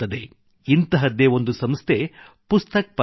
ಇಂತಹದ್ದೇ ಒಂದು ಸಂಸ್ಥೆ ಪುಸ್ತಕ್ ಪರಬ್